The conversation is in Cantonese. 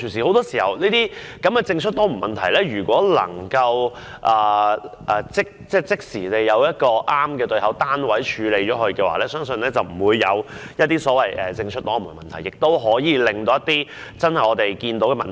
很多時候，政出多門的問題......如果能夠即時找出正確的對口單位處理問題，我相信便不會出現政出多門的問題，亦可以盡快解決我們見到的問題。